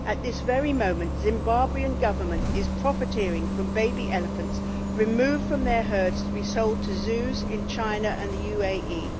At this very moment the Zimbabwe government is profiteering from baby elephants removed from their herds to be sold to zoos in China and the UAE.